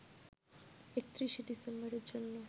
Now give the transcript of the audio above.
৩১শে ডিসেম্বরের জন্য